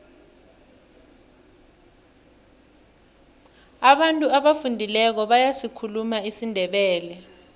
abantu abafundileko bayasikhuluma isindebele